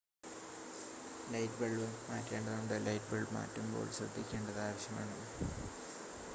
light bulb മാറ്റേണ്ടതുണ്ട് light bulb മാറ്റുമ്പോൾ ശ്രദ്ധിക്കേണ്ടത് ആവശ്യമാണ്